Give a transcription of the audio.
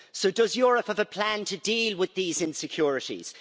Does Europe have a plan to deal with these insecurities?